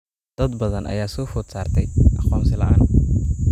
Dad badan ayaa soo food saartay aqoonsi la'aan.